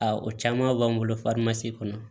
Aa o caman b'an bolo kɔnɔ